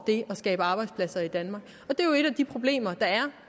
det at skabe arbejdspladser i danmark det er jo et af de problemer der er